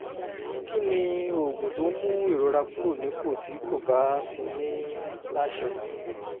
kí ni oògùn tó ń mú ìrora kúrò nípò tí kò bá ti ní láṣẹ?